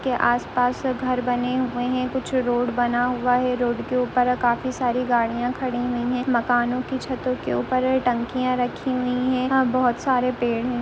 के आस-पास घर बने हुए हैं कुछ रोड बना हुआ है रोड के ऊपर काफी सारी गाड़ियां खडी हुई हैं मकानों की छतों के ऊपर टंकियां रखी हुई हैं और बहोत सारे पेड़ हैं।